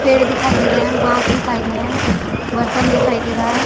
पेड़ दिखाई दे रहे है बांस दिखाई दे रहे है बर्तन दिखाई दे रहा है ।